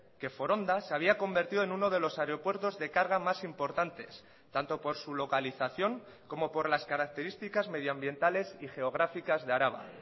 que foronda se había convertido en uno de los aeropuertos de carga más importantes tanto por su localización como por las características medioambientales y geográficas de araba